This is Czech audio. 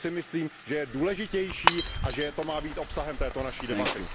To si myslím, že je důležitější a že to má být obsahem této naší debaty.